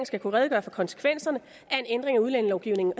skal kunne redegøre for konsekvenserne af en ændring af udlændingelovgivningen